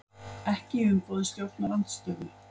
Ekki í umboði stjórnarandstöðu